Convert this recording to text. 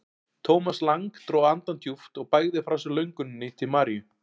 Thomas Lang dró andann djúpt og bægði frá sér lönguninni til Maríu.